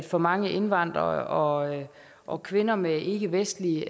for mange indvandrere og kvinder med ikkevestlig